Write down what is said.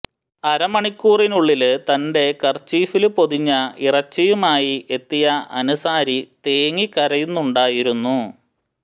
അര മണിക്കൂറിനുള്ളില് തന്റെ കര്ചീഫില് പൊതിഞ്ഞ ഇറച്ചിയുമായി എത്തിയ അന്സാരി തേങ്ങി കരയുന്നുണ്ടായിരുന്നു